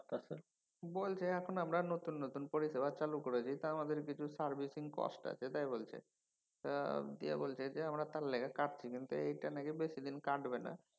বলছে এখন আমরা নতুন নতুন পরিষেবা চালু করেছি টাই আমাদের কিছু servicing cost আছে তাই বলছে। টা দিয়ে বলছে যে আমরা তার লিগা কাতছি কিন্তু এইটা নাকি বেশিদিন কাটবে না।